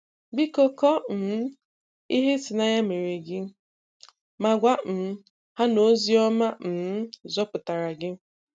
Biko kọọ um ihe ịtụnanya meere gị, ma gwa um ha na ozi ọma um zọpụtara gị.